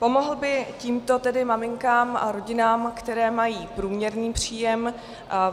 Pomohl by tímto tedy maminkám a rodinám, které mají průměrný příjem.